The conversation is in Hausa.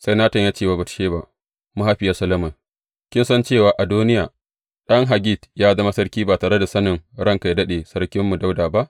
Sai Natan ya ce wa Batsheba, mahaifiyar Solomon, Ki san cewa Adoniya, ɗan Haggit, ya zama sarki ba tare da sanin ranka yă daɗe, sarkinmu Dawuda ba?